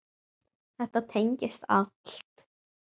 Þetta tengist allt.